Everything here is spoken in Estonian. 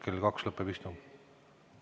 Kell kaks lõpeb istung.